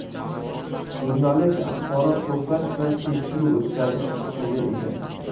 Jurnalist axborot to‘plash va tekshiruv o‘tkazish huquqiga ega.